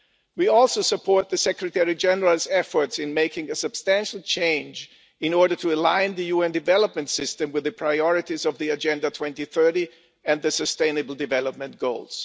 We also support the Secretary General's efforts in making a substantial change in order to align the UN development system with the priorities of Agenda 2030 and the Sustainable Development Goals.